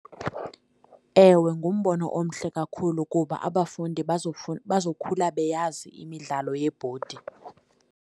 Ewe, ngumbono omhle kakhulu kuba abafundi bazokhula beyazi imidlalo yebhodi.